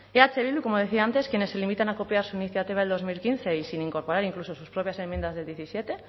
eh bildu como decía antes quienes se limitan a copiar su iniciativa del dos mil quince y sin incorporar incluso sus propias enmiendas del diecisiete